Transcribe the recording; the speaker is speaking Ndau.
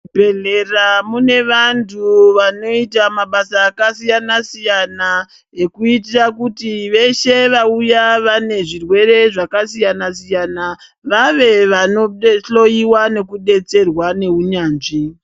Bhedhlera mune vantu vanoita mabasa akasoyana siyana ekuitira kuti veshe vauya vane zvirwere zvakasiyana siyana vave vanodehloiwa nekudetserwa neunyanzvi.